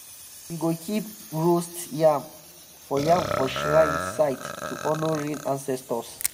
we go keep roast yam for yam for shrine side to honour rain ancestors.